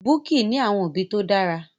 Bukky ní àwọn òbí tó dára.